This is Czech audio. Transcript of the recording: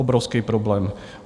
Obrovský problém.